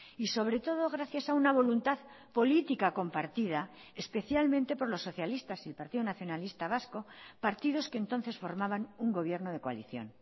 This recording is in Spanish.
y sobre todo gracias a una voluntad política compartida especialmente por los socialistas y el partido nacionalista vasco partidos que entonces formaban un gobierno de coalición